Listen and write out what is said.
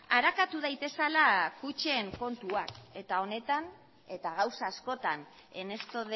arakatu daitezela kutxen kontuak eta honetan eta gauza askotan en esto